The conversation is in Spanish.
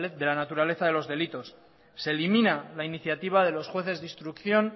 de la naturaleza de los delitos se elimina la iniciativa de los jueces de instrucción